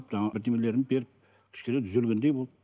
жаңағы бірдеңелерін беріп кішкене түзелгендей болды